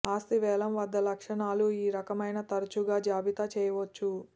ఆస్తి వేలం వద్ద లక్షణాలు ఈ రకమైన తరచుగా జాబితా చేయవచ్చు